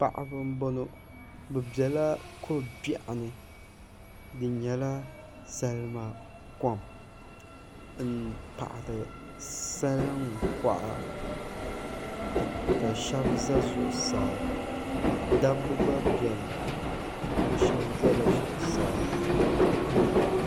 Paɣaba n boŋo bi biɛla ko biɛɣu ni di nyɛla salima kom n paɣari salin koɣa ka shab ʒɛ zuɣusaa dabba gba biɛni bi shab ʒɛla zuɣusaa